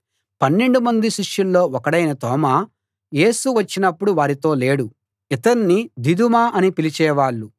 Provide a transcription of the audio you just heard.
పన్నెండుమంది శిష్యుల్లో ఒకడైన తోమా యేసు వచ్చినప్పుడు వారితో లేడు ఇతణ్ణి దిదుమ అని పిలిచే వాళ్ళు